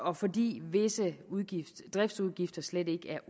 og fordi visse driftsudgifter slet ikke er